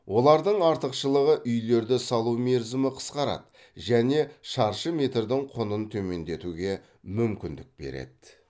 олардың артықшылығы үйлерді салу мерзімі қысқарады және шаршы метрдің құнын төмендетуге мүмкіндік береді